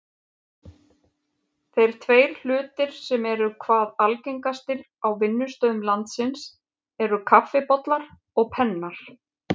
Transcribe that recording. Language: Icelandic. Þeir tveir hlutir sem eru hvað algengastir á vinnustöðum landsins eru kaffibollar og pennar.